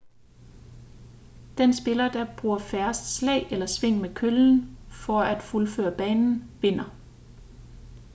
den spiller der bruger færrest slag eller sving med køllen for at fuldføre banen vinder